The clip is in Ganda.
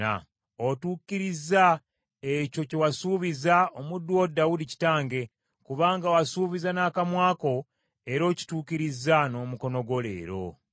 Otuukirizza ekyo kye wasuubiza omuddu wo Dawudi kitange, kubanga wasuubiza n’akamwa ko, era okituukirizza n’omukono gwo leero.